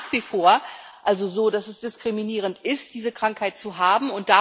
Es ist also nach wie vor so, dass es diskriminierend ist, diese Krankheit zu haben.